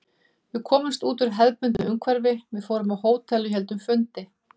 Við komumst út úr hefðbundnu umhverfi, við fórum á hótel og héldum fundi.